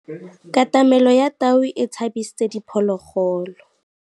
Katamêlô ya tau e tshabisitse diphôlôgôlô.